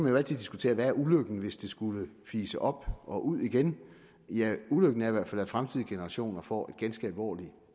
jo altid diskutere hvad ulykken er hvis det skulle fise op og ud igen ja ulykken er i hvert fald at fremtidige generationer får et ganske alvorligt